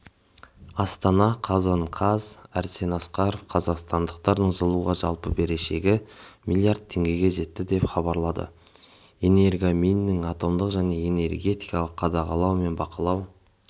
астана қазан қаз арсен асқаров қазақстандықтардың жылуға жалпы берешегі миллиард теңгеге жетті деп хабарлады энергоминінің атомдық және энергетикалық қадағалау мен бақылау